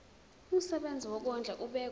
umsebenzi wokondla ubekwa